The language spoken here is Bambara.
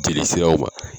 Jeli siraw ma